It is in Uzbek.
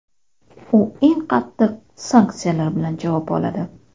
u eng qattiq sanksiyalar bilan javob oladi.